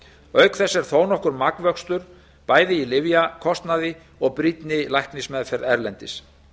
auk þess er þó nokkur magnvöxtur bæði í lyfjakostnaði og brýnni læknismeðferð erlendis